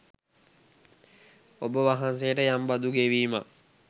ඔබවහන්සේට යම් බදු ගෙවීමක්